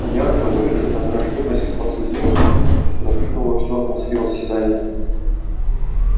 ярко выраженная враждебность к подсудимым пропитывала всю атмосферу заседания